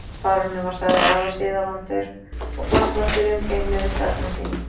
Baróninn var sagður afar siðavandur og formfastur í umgengni við starfsmenn sína.